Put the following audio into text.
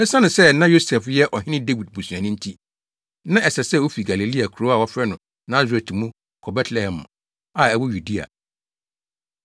Esiane sɛ na Yosef yɛ Ɔhene Dawid busuani nti, na ɛsɛ sɛ ofi Galilea kurow a wɔfrɛ no Nasaret mu kɔ Betlehem a ɛwɔ Yudea.